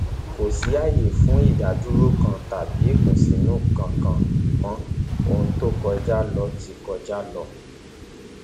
kò sí ààyè fún ìdádúró kan tàbí ìkùnsínú kankan mọ ohun tó kọjá ló ti kọjá lọ